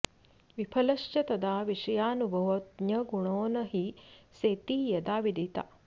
विफलश्च तदा विषयानुभवो ज्ञगुणो न हि सेति यदा विदिता